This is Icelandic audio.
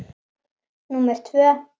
Númer tvö